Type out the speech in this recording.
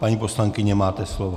Paní poslankyně, máte slovo.